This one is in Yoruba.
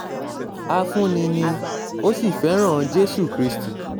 afúnni ni ó sì fẹ́ràn jésù kristi